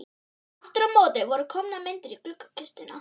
Aftur á móti voru komnar myndir í gluggakistuna.